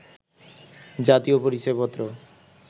জাতীয় পরিচয় পত্র